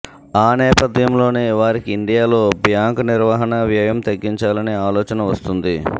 ఆ నేపథ్యంలోనే వారికి ఇండియాలో బ్యాంకు నిర్వహణ వ్యయం తగ్గించాలనే ఆలోచన వస్తుంది